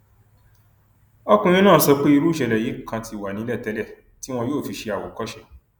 ọkùnrin náà sọ pé irú ìṣẹlẹ yìí kan ti wà nílẹ tẹlẹ tí wọn yóò fi ṣe àwòkọṣe